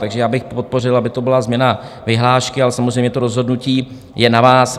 Takže já bych podpořil, aby to byla změna vyhlášky, ale samozřejmě, to rozhodnutí je na vás.